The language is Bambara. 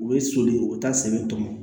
U bɛ soli u bɛ taa sɛbɛ tɔmɔ